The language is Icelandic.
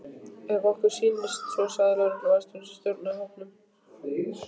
Ef okkur sýnist svo sagði lögregluvarðstjórinn sem stjórnaði hópnum.